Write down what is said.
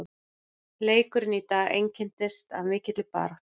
Leikurinn í dag einkenndist af mikilli baráttu.